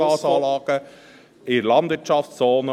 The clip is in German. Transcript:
… Biogasanlagenin der Landwirtschaftszone.